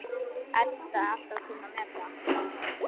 Edda alltaf kunnað að meta.